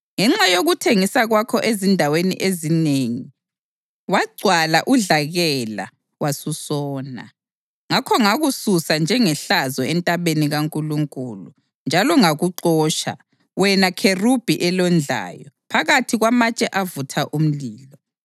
Ngenxa yokuthengisa kwakho ezindaweni ezinengi wagcwala udlakela, wasusona. Ngakho ngakususa njengehlazo entabeni kaNkulunkulu, njalo ngakuxotsha, wena kherubhi elondlayo, phakathi kwamatshe avutha umlilo.